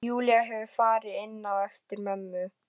Júlía hefur farið inn á eftir mömmu.